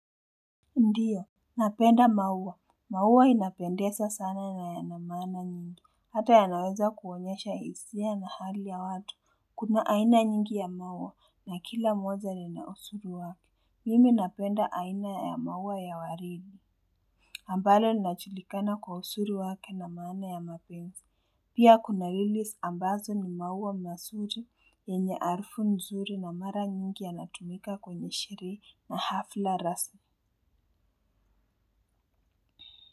Ndiyo. Napenda mauwa. Maua inapendeza sana na yana maana nyingi. Hata ya naweza kuonyesha hisia na hali ya watu. Kuna aina nyingi ya maua na kila moja lina uzuri wake. Mimi napenda aina ya maua ya waridi ambalo linajulikana kwa uzuri wake na maana ya mapenzi. Pia kuna lili ambazo ni maua mazuri yenye harufu nzuri na mara nyingi yanatumika kwenye sherehe na hafla rasmi.